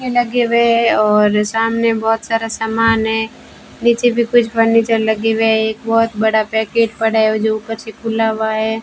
लगे हुए हैं और सामने बहुत सारा समान है नीचे भी कुछ फर्नीचर लगे हुए हैं एक बहुत बड़ा पैकेट पड़ा है जो ऊपर से खुला हुआ है।